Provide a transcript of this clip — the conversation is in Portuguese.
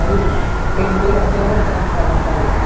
Aí eu tentei até voltar para a Lafaiete.